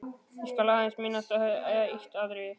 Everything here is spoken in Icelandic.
Ég skal aðeins minnast á eitt atriði.